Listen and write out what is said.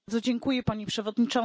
Pani Przewodnicząca!